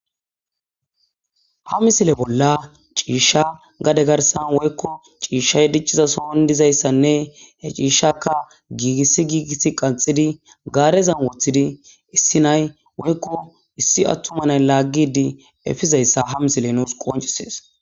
ha misile bolla ciishsha gade garsan woykko ciishshay dicciza sohon dizayssanne he ciishakka giigissi giigisi qanxidi gaarezan woththidi issi nay woykko issi attumanay laaggidi efizayssa ha misile nuus qoncisees